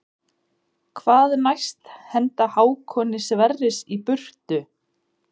Hvað næst henda Hákoni Sverris í burtu?